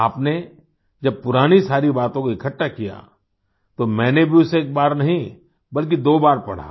आपने जब पुरानी सारी बातों को इकठ्ठा किया तो मैंने भी उसे एक बार नहीं बल्कि दो बार पढ़ा